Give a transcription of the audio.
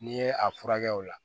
N'i ye a furakɛ o la